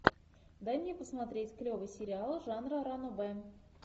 дай мне посмотреть клевый сериал жанра ранобэ